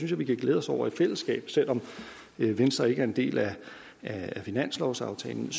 jeg vi kan glæde os over i fællesskab selv om venstre ikke er en del af finanslovsaftalen